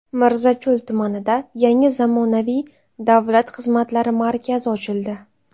Mirzacho‘l tumanida yangi zamonaviy Davlat xizmatlari markazi ochildi.